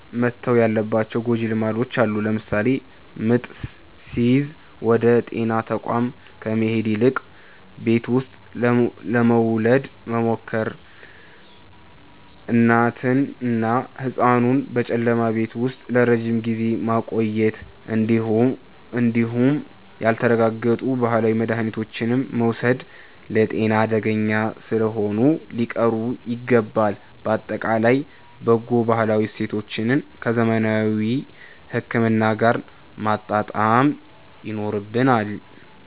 መተው ያለባቸው ጎጂ ልማዶች አሉ። ለምሳሌ ምጥ ሲይዝ ወደ ጤና ተቋም ከመሄድ ይልቅ ቤት ውስጥ ለመውለድ መሞከር፣ እናትንና ህጻኑን በጨለማ ቤት ውስጥ ለረጅም ጊዜ ማቆየት እንዲሁም ያልተረጋገጡ ባህላዊ መድሃኒቶችን መውሰድ ለጤና አደገኛ ስለሆኑ ሊቀሩ ይገባል። ባጠቃላይ በጎ ባህላዊ እሴቶቻችንን ከዘመናዊ ህክምና ጋር ማጣመር ይኖርብናል።